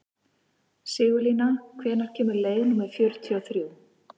Sigurlína, hvenær kemur leið númer fjörutíu og þrjú?